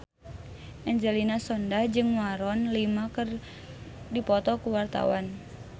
Angelina Sondakh jeung Maroon 5 keur dipoto ku wartawan